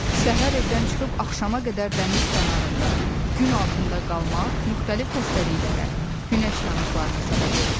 Səhər evdən çıxıb axşama qədər dəniz kənarında gün altında qalmaq müxtəlif xəstəliklərə, günəş yanıqlarına səbəb olur.